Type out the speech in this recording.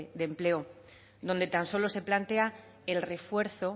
de empleo donde tan solo se plantea el refuerzo